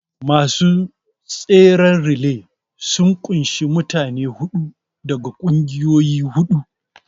Masu tseren relay sun ƙunshi mutane huɗu daga ƙungiyoyi huɗu